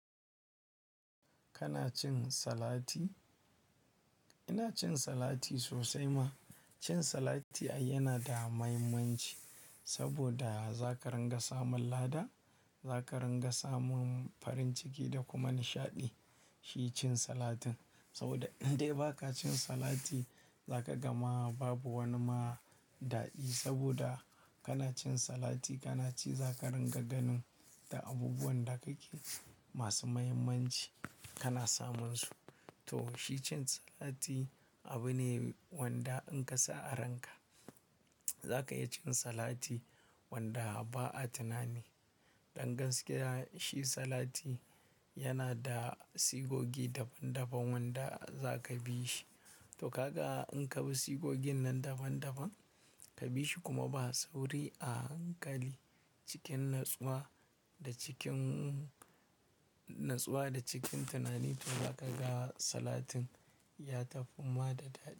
Kana cin salati? Ina cin salati sosai ma. Cin salati yana da mahimmanci saboda za ka ringa samun lada, za ka ringa samun farin ciki da kuma nishaɗi. Shi cin salatin saboda idan bai ka cin salati za ka gama babu wani ma daɗi saboda kana cin salati kana ci za ka ringa ganin da abubuwan da kake masu mahimmanci kana samunsu. To, shi cin salati abu ne wanda in ka sa a ranka za ka iya cin salati wanda ba a tunani. Ɗan gaskiya shi salati yana da sigogi daban daban wanda za ka bi shi. To, haka in ka bi sigogin nan daban daban ka bi shi kuma ba sauri a hankali cikin natsuwa da cikin natsuwa da cikin tunani to za ka ga salatin ya tafi ma da daɗi.